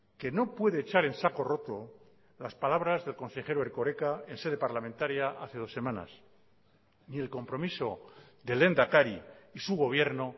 que no puede echar en saco roto las palabras del consejero erkoreka en sede parlamentaria hace dos semanas ni el compromiso del lehendakari y su gobierno